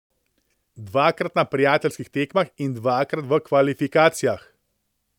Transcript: Dvakrat na prijateljskih tekmah in dvakrat v kvalifikacijah.